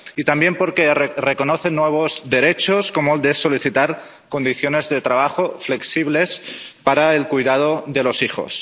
Y también porque reconoce nuevos derechos, como el de solicitar condiciones de trabajo flexibles para el cuidado de los hijos.